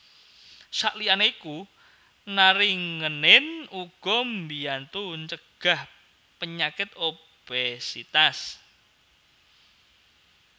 Saliyane iku naringenin uga mbiyantu ncegah penyakit obésitas